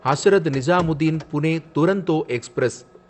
Hazrat Nizamuddin Pune Duronto express